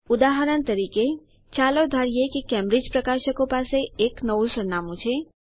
ઉદાહરણ તરીકે ચાલો ધારીએ કે કેમ્બ્રિજ પ્રકાશકો પાસે એક નવું સરનામું છે